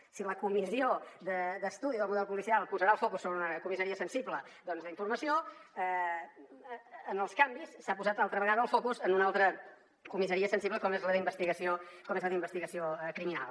o sigui la comissió d’estudi del model policial posarà el focus sobre una comissaria sensible d’informació en els canvis s’ha posat altra vegada el focus en una altra comissaria sensible com és la d’investigació criminal